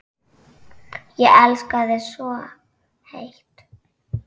Ég elska þig svo heitt.